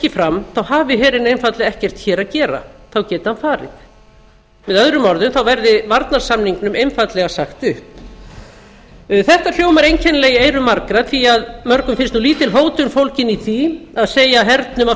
fram hafi herinn einfaldlega ekkert hér að gera þá geti hann farið með öðrum orðum þá verði varnarsamningnum einfaldlega sagt upp þetta hljómar einkennilega í eyrum margra því að mörgum finnst lítil hótun fólgin í því að segja hernum að